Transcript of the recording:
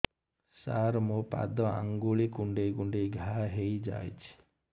ସାର ମୋ ପାଦ ଆଙ୍ଗୁଳି କୁଣ୍ଡେଇ କୁଣ୍ଡେଇ ଘା ହେଇଯାଇଛି